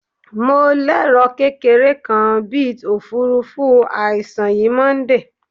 Mo lero kekere kan bit ofurufu aisun yi Monday